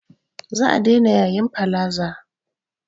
Za a daina yayin palaza